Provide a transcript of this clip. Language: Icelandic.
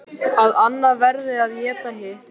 Að annað verði að éta hitt.